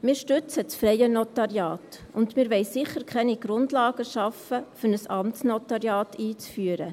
Wir stützen das freie Notariat, und wir wollen sicher keine Grundlagen für die Einführung eines Amtsnotariats schaffen.